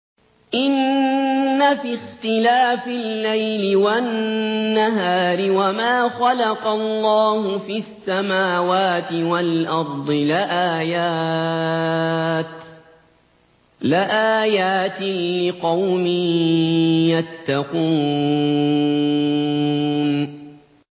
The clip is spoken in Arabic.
إِنَّ فِي اخْتِلَافِ اللَّيْلِ وَالنَّهَارِ وَمَا خَلَقَ اللَّهُ فِي السَّمَاوَاتِ وَالْأَرْضِ لَآيَاتٍ لِّقَوْمٍ يَتَّقُونَ